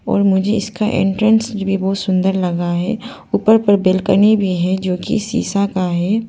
और मुझे इसका एंट्रेंस भी बहुत सुंदर लगा है ऊपर पर बेलकुनी भी है जो की सीसा का है।